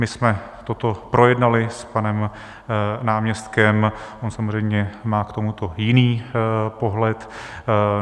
My jsme toto projednali s panem náměstkem, on samozřejmě má k tomuto jiný pohled.